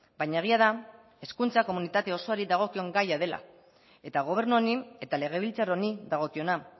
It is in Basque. baina egia da hezkuntza komunitate osoari dagokion gaia dela eta gobernu honi eta legebiltzar honi dagokiona